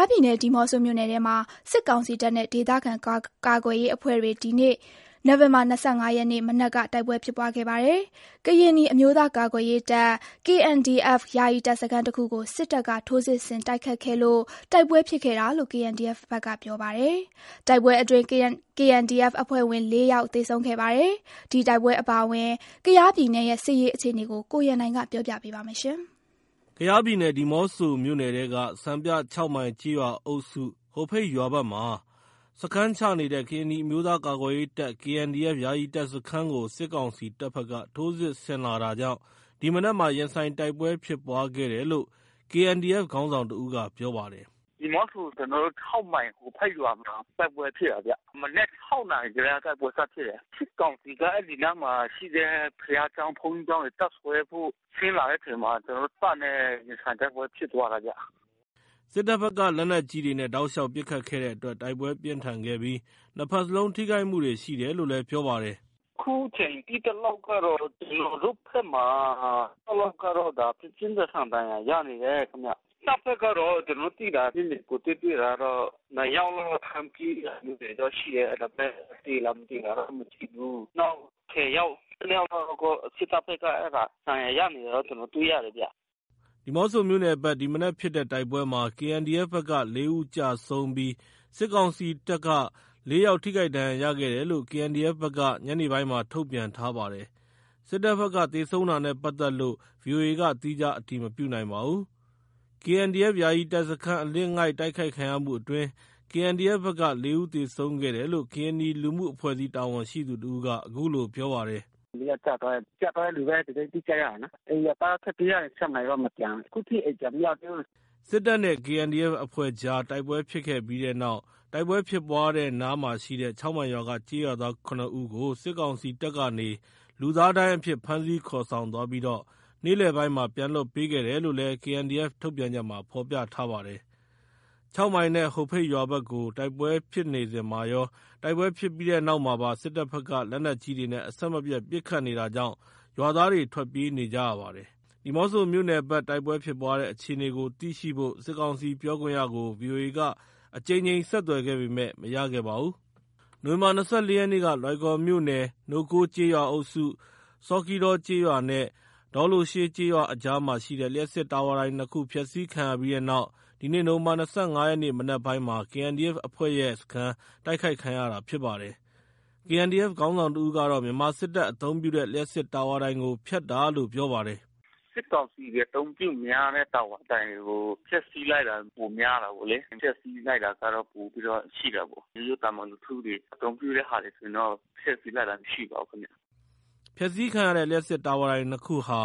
ားပြည်နယ် ဒီးမော့ဆိုမြို့နယ်ထဲမှာ စစ်ကောင်စီတပ်နဲ့ ဒေသခံကာကွယ်ရေးအဖွဲ့တွေ ဒီနေ့ နိုဝင်ဘာ ၂၅ ရက်နေ့မနက်က တိုက်ပွဲဖြစ်ပွားခဲ့ပါတယ်။ ကရင်နီအမျိုးသား ကာကွယ်ရေးတပ် KNDF ယာယီတပ်စခန်းတခုကို စစ်တပ်က ထိုးစစ်ဆင်တိုက်ခိုက်ခဲ့လို့ တိုက်ပွဲဖြစ်ခဲ့တာလို့ KNDF ဘက်ကပြောပါတယ်။ တိုက်ပွဲအတွင်း KNDF အဖွဲ့ဝင် လေးယောက် သေဆုံးခဲ့ပါတယ်။ ဒီတိုက်ပွဲအပါအဝင် ကယားပြည်နယ်ရဲ့ စစ်ရေးအခြေအနေကို ကိုရန်နိုင်က တင်ပြပေးထားပါတယ်။ ကယားပြည်နယ်၊ ဒီးမော့ဆိုမြို့နယ်ထဲက စံပြ ၆ မိုင်ကျေးရွာအုပ်စု ဟိုဖိတ်ရွာဘက်မှာ စခန်းချနေတဲ့ ကရင်နီအမျိုးသားကာကွယ်ရေးတပ် KNDF ယာယီတပ်စခန်းကို စစ်ကောင်စီတပ်ဘက်ကနေ ထိုးစစ်ဆင်လာတာကြောင့် ဒီမနက်မှာ ရင်ဆိုင်တိုက်ပွဲဖြစ်ပွါးခဲ့တယ်လို့ KNDF ခေါင်းဆောင်တဦးက ပြောပါတယ်။ "ဒီးမော့ဆိုက ၆ မိုင်(ကျေးရွာအုပ်စု) ဟိုဖိတ်ရွာမှာ တိုက်ပွဲဖြစ်တာဗျ။ မနက် ၆ နာရီကတည်းက တိုက်ပွဲစဖြစ် တာ။ စစ်ကောင်စီက အဲဒီနားမှာရှိတဲ့ ဘုရားကျောင်း၊ ဘုန်းကြီးကျောင်းမှာတပ်စွဲဖို့ ဆင်းလာတဲ့အချိန်မှာ ကျနော်တို့တပ်နဲ့ ရင်ဆိုင်တိုက်ပွဲဖြစ်တာဗျ။" စစ်တပ်ဘက်က လက်နက်ကြီးတွေနဲ့ တောက်လျှောက်ပစ်ခတ်တဲ့အတွက် တိုက်ပွဲ ပြင်းထန်ခဲ့ပြီး ၂ ဘက်လုံး ထိခိုက်မှုတွေရှိတယ်လို့လည်း ပြောပါတယ်။ "အခုချိန်သိသလောက်ကတော့ ကျနော်တို့ဘက်မှာ (၆) ယောက်ကတော့ ပြင်းပြင်းထန်ထန် ဒဏ်ရာရနေတယ်ခင်ဗျ။ တပ်ဘက်ကတော့ ကျနော်တို့သိတာ ကိုယ်တွေ့ တွေ့တာကတော့ (၂) ယောက်လောက် ထမ်းပြေးလာတာတော့ရှိတယ်။ ဒါပေမဲ့ သေလား မသေလားဆိုတာ မသိဘူး။ နောက် (၁၀) ယောက် (၁၂) ယောက်ကတော့ စစ်တပ်ဘက်က ဒဏ်ရာရတယ်လို့ ကျနော်တို့ တွေ့ရတယ်ဗျ။" ဒီးမော့ဆိုမြို့နယ်ဘက် ဒီမနက်ဖြစ်တဲ့တိုက်ပွဲမှာ (KNDF) ဘက်က (၄) ဦးကျဆုံးပြီး စစ်ကောင်စီတပ်မှ လေးယောက် ထိခိုက်ဒဏ်ရာရခဲ့တယ်လို့ KNDF ဘက်က ညနေပိုင်းမှာ ထုတ်ပြန် ထားပါတယ်။ စစ်တပ်ဘက်က သေဆုံးတာနဲ့ပတ်သက်လို့ ဗွီအိုအေက သီးခြားအတည်မပြုနိုင်ပါဘူး။ KNDF ယာယီတပ်စခန်း အလစ်အငိုက်တိုက်ခိုက်ခံရမှုအတွင်း KNDF ဘက်က ၄ ဦး သေဆုံးခဲ့တယ်လို့ ကရင်နီလူမှုအဖွဲ့အစည်း တာဝန်ရှိသူတဦးက အခုလို ပြောပါတယ်။ "(၄) ယောက်ကျသွားတယ်။ ကျသွားတယ်လို့လည်း သတင်းအတိကျရတယ်နော်။ အဲဒီ ရွာသားတွေ ထွက်ပြေးရတယ်။ (၆) မိုင်ရွာမှာတော့မကျန်ဘူး။ ခုထိ အိမ်ပြန်မရောက်သေးဘူး။” စစ်တပ်နဲ့ KNDF အဖဲ့ွကြား တိုက်ပွဲဖြစ်ခဲ့ပြီးနောက် တိုက်ပွဲဖြစ်တဲ့နားမှာရှိတဲ့ ၆ မိုင်ရွာက ကျေးရွာသား (၇) ဦးကို စစ်ကောင်စီတပ်ကနေ လူသားဒိုင်းအဖြစ် ဖမ်းဆီးခေါ်ဆောင်သွားပြီး နေ့လည်ပိုင်းမှာပြန်လွှတ်ပေးခဲ့တယ်လို့လည်းKNDF ထုတ်ပြန်ချက်မှာ ဖော်ပြထားပါတယ်။ ၆ မိုင်နဲ့ ဟိုဖိတ်ရွာဘက်ကို တိုက်ပွဲဖြစ်နေစဉ်မှာရော တိုက်ပွဲပြီးတဲ့နောက်မှာပါ စစ်တပ် ဘက်က လက်နက်ကြီးတွေနဲ့ အဆက်မပြတ် ပစ်ခတ်နေတာကြောင့် ရွာသားတွေ ထွက်ပြေးနေကြရပါတယ်။ ဒီးမော့ဆိုမြို့နယ်ဘက်တိုက်ပွဲဖြစ်ပွါးတဲ့အခြေအနေကိုသိရှိဖို့ စစ်ကောင်စီပြောခွင့်ရကို ဗွီအိုအေက ကြိမ်ကြိမ်ဆက်သွယ်ခဲ့ပေမယ့် မရခဲ့ပါဘူး။ နိုဝင်ဘာလ ၂၄ ရက်နေ့က လွိုင်ကော်မြို့နယ် ၊ နိုးကိုးကျေးရွာအုပ်စု၊ ဆော်ခီးဒေါကျေးရွာနဲ့ ဒေါလိုရှေးကျေးရွာအကြားမှာရှိတဲ့ လျှပ်စစ်တာဝါတိုင် ၂ ခုဖျက်စီးခံရပြီးနောက် ဒီနေ့ နိုဝင် ဘာ ၂၅ ရက် မနက်ပိုင်းမှာ KNDF အဖွဲ့ရဲ့စခန်း တိုက်ခိုက်ခံရတာဖြစ်ပါတယ်။ KNDF ခေါင်းဆောင်တဦးကတော့ မြန်မာစစ်တပ်အသုံးပြုတဲ့ လျှပ်စစ်တာဝါတိုင်ကို ဖျက်တာလို့ ပြောပါတယ်။ "စစ်ကောင်စီတွေအသုံးပြုများတဲ့တာဝါတိုင်ကိုဖျက်စီးလိုက်တာပိုများတယ်ပေါ့လေ။ ဖျက်စီးလိုက်တာ ပိုပြီးတော့ရှိတာပေါ့။ ရိုးရိုးသာမန်လူထုတွေ အသုံးပြုတဲ့ဟာဆိုရင်တော့ ဖျက်စီးလိုက်တာမရှိပါဘူးလေ။" ဖျက်စီးခံရတဲ့ လျှပ်စစ် တာဝါတိုင် ၂ ခုဟာ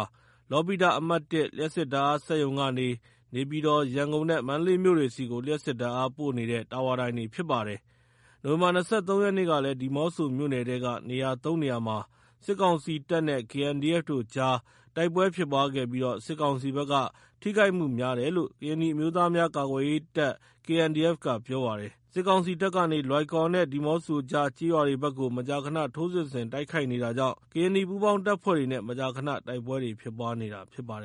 လောပိတ အမှတ်(၁) လျှပ်စစ်ဓာတ်အားစက်ရုံ ကနေ နေပြည်တော်၊ ရန်ကုန်နဲ့ မန္တလေးမြို့တွေဆီကို လျှပ်စစ်ဓာတ်အားပေးပို့နေတဲ့ တာဝါတိုင်တွေဖြစ်ပါတယ်။ နိုဝင်ဘာလ ၂၃ ရက်နေ့ကလည်း ဒီးမော့ဆိုမြို့နယ်ထဲက နေရာသုံးနေရာမှာ စစ်ကောင်စီတပ်နဲ့ KNDF တို့အကြား တိုက်ပွဲဖြစ်ပွားခဲ့ပြီး စစ်ကောင်စီဘက်က ထိခိုက်မှုများတယ်လို့ ကရင်နီအမျိုးသားများ ကာကွယ်ရေးတပ် KNDF က ပြောပါတယ်။ စစ်ကောင်စီတပ်ကနေ လွိုင်ကော်နဲ့ ဒီးမော့ဆိုကြား ကျေးရွာတွေဘက်ကို မကြာခဏ ထိုးစစ် ဆင် တိုက်ခိုက်နေတာကြောင့် ကရင်နီပူးပေါင်းတပ်ဖွဲ့တွေနဲ့ မကြာခန တိုက်ပွဲတွေ ဖြစ်ပွားနေတာဖြစ်ပါတယ်